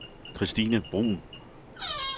Kirstine Bruun